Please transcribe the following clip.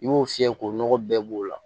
I b'o fiyɛ k'o nɔgɔ bɛɛ b'o la